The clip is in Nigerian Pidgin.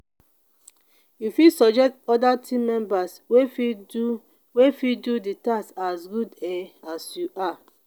you fit suggest oda team members wey fit do wey fit do di task as good um as you are